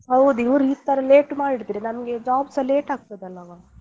ಹೌದು ಇವ್ರು ಈ ತರ late ಮಾಡಿದ್ರೆ ನಮ್ಗೆ job ಸ late ಆಗ್ತದಲ್ಲವ.